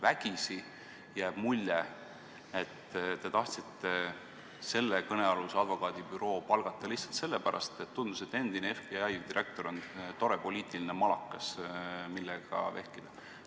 Vägisi jääb mulje, et tahtsite kõnealuse advokaadibüroo palgata lihtsalt sellepärast, et tundus, et endine FBI direktor on tore poliitiline malakas, millega vehkida.